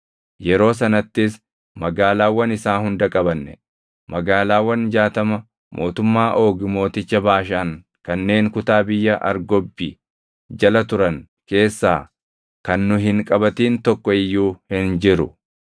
Yeroo sanattis magaalaawwan isaa hunda qabanne. Magaalaawwan jaatama mootummaa Oogi mooticha Baashaan kanneen kutaa biyya Argobbi jala turan keessaa kan nu hin qabatin tokko iyyuu hin jiru.